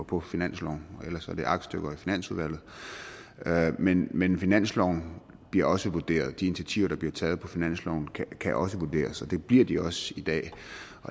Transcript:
på finansloven ellers er det aktstykker i finansudvalget men men finansloven bliver også vurderet de initiativer der bliver taget på finansloven kan også vurderes og det bliver de også i dag